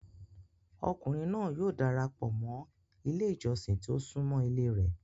Ọkùnrìn náà yóò darapọ mọ́ ilẹ̀ ìjọ̀ṣìn tí o sùnmọ́ ilẹ̀ rẹ̀.